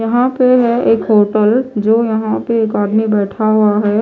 यहां पे है एक होटल जो यहां पे एक आदमी बैठा हुआ है।